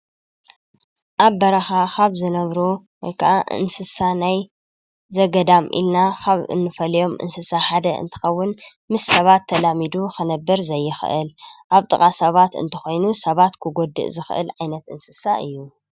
ኣብ በራኻ ኻብ ዝነብሩ ወይ ከኣ እንስሳ ናይ ዘገዳም ኢልና ኻብ እንፈልዮም እንስሳ ሓደ እንትኸውን ምስ ሰባት ተላሚዱ ኸነብር ዘይኽእል ፣ ኣብ ጥቓ ሰባት እንተኾይኑ ሰባት ክጐድእ ዝኽእል ዓይነት እንስሳ እዩ፡፡